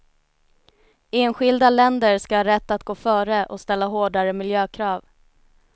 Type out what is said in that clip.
Enskilda länder ska ha rätt att gå före och ställa hårdare miljökrav.